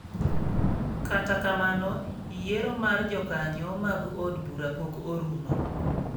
Kata kamano, yiero mar jokanyo mag od bura pok orumo.